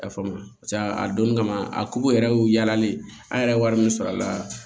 I y'a faamu paseke a donni kama a ko yɛrɛ y'o yalalen an yɛrɛ ye wari min sɔrɔ a la